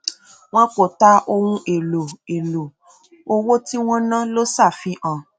wọn kò tà ohun èlò èlò owó tí wọn ná ló ṣàfihàn